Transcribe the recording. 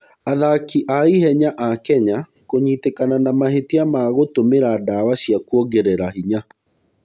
Athaki a ihenya a Kenya kũnyitĩkana na mahĩtia ma gũtũmĩra ndawa cia kuongerera hinya.